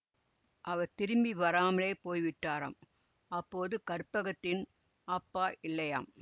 அவர் திரும்பி வராமலே போய்விட்டாராம் அப்போது கற்பகத்தின் அப்பா இல்லையாம்